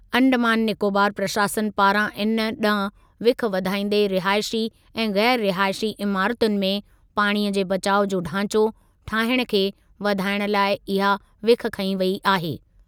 अंडमान निकोबार प्रशासन पारां इन ॾांहुं विख वधाईंदे रिहाइशी ऐं ग़ैर रिहाइशी इमारतुनि में पाणीअ जे बचाउ जो ढांचो ठाहिणु खे वधाइण लाइ इहा विख खंयी वेई आहे।